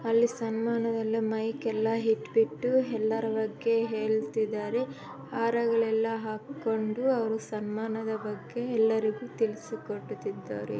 ಇಲ್ಲಿ ಸ್ಟೇಟ್ ಮೇಲೆ ಅಲ್ಲಿ ಸನ್ಮಾನ ಎಲ್ಲ ಮೈಕೆಲ್ಲ ಇಟ್ ಬಿಟ್ಟು ಹೇಳ್ತಿದ್ದಾರೆ ಮತ್ತು ಹಾರಗಳನ್ನು ಹಾಕೊಂಡು ಸನ್ಮಾನದ ಬಗ್ಗೆ ತಿಳಿಸಿಕೊಡುತ್ತಿದ್ದಾರೆ